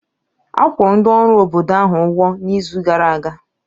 A kwụrụ ndị ọrụ obodo ahụ ụgwọ n'izu gara aga